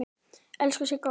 Elsku Sigga okkar!